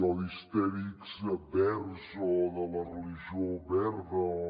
o d’histèrics verds o de la religió verda o